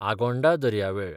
आगोंडा दर्यावेळ